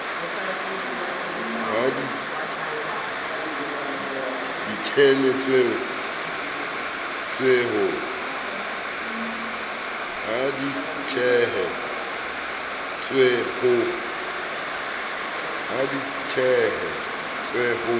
ha di tshehe tswe ho